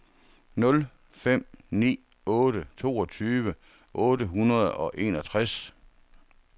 nul fem ni otte toogtyve otte hundrede og enogtres